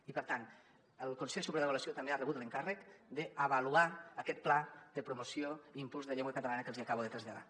i per tant el consell superior d’avaluació també ha rebut l’encàrrec d’avaluar aquest pla de promoció i impuls de llengua catalana que els acabo de traslladar